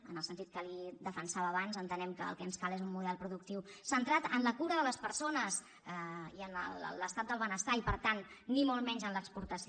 en el sentit que li defensava abans entenem que el que ens cal és un model productiu centrat en la cura de les persones i en l’estat del benestar i per tant ni molt menys en l’exportació